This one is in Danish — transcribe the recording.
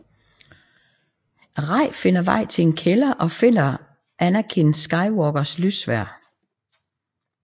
Rey finder vej til en kælder og finder Anakin Skywalkers lyssværd